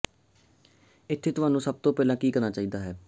ਇੱਥੇ ਤੁਹਾਨੂੰ ਸਭ ਤੋਂ ਪਹਿਲਾਂ ਕੀ ਕਰਨਾ ਚਾਹੀਦਾ ਹੈ